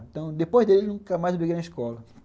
Então, depois dele, nunca mais briguei na escola.